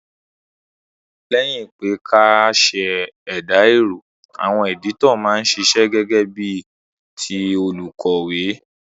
Léyìn pe kí a sèdà èrò, àwon editor ma n sisẹ́ gégé bí ti olùkòwé